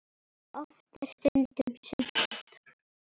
Oft er stundum sumt.